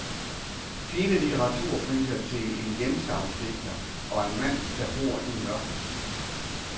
Fine litteraturpriser til en hjemstavnsdigter og en mand, der bor i mørket.